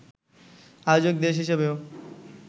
আয়োজক দেশ হিসাবেও